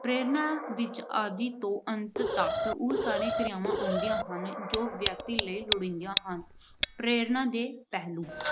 ਪ੍ਰੇਰਨਾ ਵਿੱਚ ਆਦਿ ਤੋਂ ਅੰਤ ਤੱਕ ਉਹ ਸਾਰੀਆਂ ਕਿਰਿਆਵਾਂ ਆਉਂਦੀਆਂ ਹਨ ਜੋ ਵਿਅਕਤੀ ਲਈ ਲੋੜੀਂਦੀਆਂ ਹਨ। ਪ੍ਰੇਰਨਾ ਦੇ ਪਹਿਲੂ